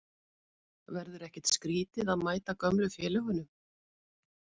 Verður ekkert skrítið að mæta gömlu félögunum?